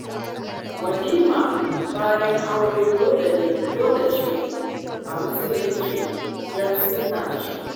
Walima bayan aure dole ce a musulunce don sunna ce